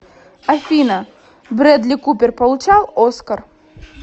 афина брэдли купер получал оскар